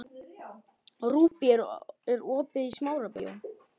Rúbý, er opið í Smárabíói?